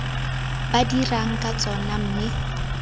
ba dirang ka tsona mme